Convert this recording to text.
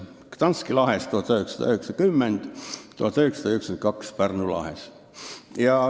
Gdanski lahes 1990, Pärnu lahes 1992.